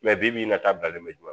Mɛ bibi in na tabilalen bɛ